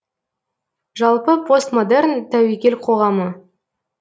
жалпы постмодерн тәуекел қоғамы